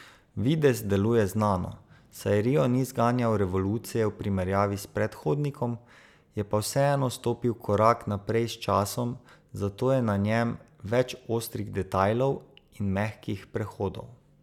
Videz deluje znano, saj rio ni zganjal revolucije v primerjavi s predhodnikom, je pa vseeno stopil korak naprej s časom, zato je na njem več ostrih detajlov in mehkih prehodov.